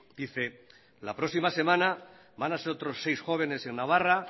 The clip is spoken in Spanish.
dice la próxima semana van a ser otros seis jóvenes en navarra